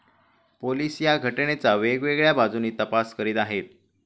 Police या घटनेचा वेगवेगळ्या बाजूंनी तपास करीत आहेत.